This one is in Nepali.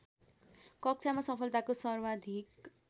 कक्षामा सफलताको सर्वाधिक